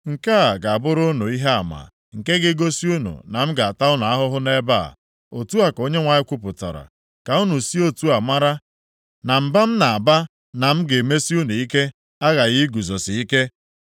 “ ‘Nke a ga-abụrụ unu ihe ama nke ga-egosi unu na m ga-ata unu ahụhụ nʼebe a,’ otu a ka Onyenwe anyị kwupụtara. ‘Ka unu si otu a mara na mba m na-aba na m ga-emesi unu ike aghaghị iguzosi ike.’